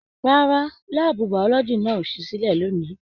Rárá, láàbù biology náà o sì silẹ lóni.